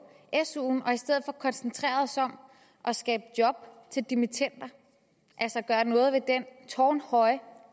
suen og i stedet for koncentrerede os om at skabe job til dimittender altså gøre noget ved den tårnhøje